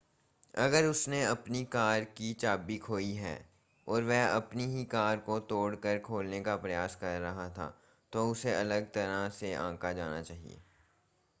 अगर उसने अपनी कार की चाबी खोई है और वह अपनी ही कार को तोड़ कर खोलने का प्रयास कर रहा था तो उसे अलग तरह से आंका जाना चाहिए